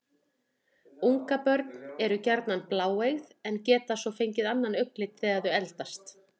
Ungabörn eru gjarnan bláeygð en geta svo fengið annan augnlit þegar þau eldast.